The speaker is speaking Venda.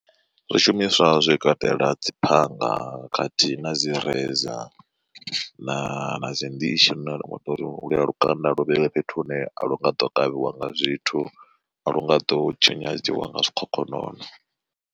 Zwishumiswa zwi katela dzi phanga khathihi na dzi razor na dzi ndishi lune ringa tori lukanda lu vheiwe fhethu hune a lu nga ḓo kavhiwa nga zwithu a lu nga ḓo tshinyadziwa nga zwikhokhonono.